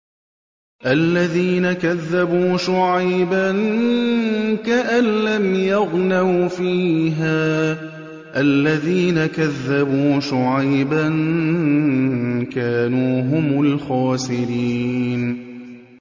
الَّذِينَ كَذَّبُوا شُعَيْبًا كَأَن لَّمْ يَغْنَوْا فِيهَا ۚ الَّذِينَ كَذَّبُوا شُعَيْبًا كَانُوا هُمُ الْخَاسِرِينَ